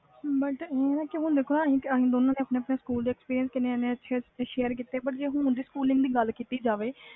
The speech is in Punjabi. but ਹੁਣ ਦੇਖ ਅਸੀਂ ਕਿੰਨੇ ਅੱਛੇ experience ਕੀਤੇ ਜੇ ਹੁਣ ਦੀ ਸਕੂਲ time ਦੀ ਗੱਲ ਕੀਤੀ ਜਾਵੇ